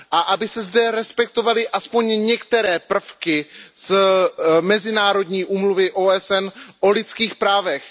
Aby se zde respektovaly alespoň některé prvky Mezinárodní úmluvy OSN o lidských právech.